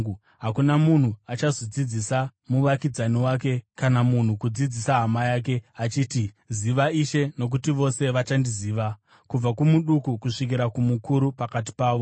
Hakuna munhu achazodzidzisa muvakidzani wake, kana munhu kudzidzisa hama yake, achiti, ‘Ziva Ishe,’ nokuti vose vachandiziva, kubva kumuduku kusvikira kumukuru pakati pavo.